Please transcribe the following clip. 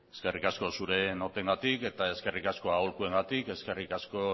eskerrik asko zure notengatik eta eskerrik asko aholkuengatik eskerrik asko